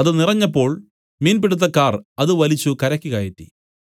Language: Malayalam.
അത് നിറഞ്ഞപ്പോൾ മീൻ പിടുത്തക്കാർ അത് വലിച്ചു കരയ്ക്ക് കയറ്റി